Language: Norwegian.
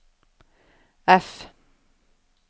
F